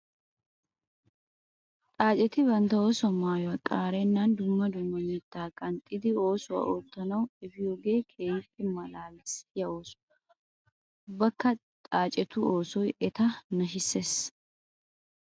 Xaacetti bantta oosuwaa maayuwa qaarenan dumma dumma mitta qanxxiddi oosuwa ootanawu efiyooge keehippe malaalissiya ooso. Ubbakka xaacettu oosoy etta nashisses.